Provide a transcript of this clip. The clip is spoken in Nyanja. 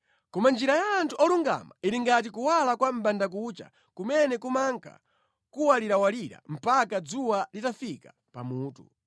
Koma njira ya anthu olungama ili ngati kuwala kwa mʼbandakucha kumene kumanka kuwalirawalira mpaka dzuwa litafika pa mutu.